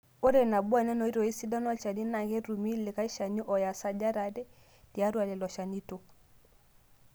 Ore Nabo enena oitoi sidan olchani, naa ketumi likae Shani oya sajat are tiatua lelo shanito.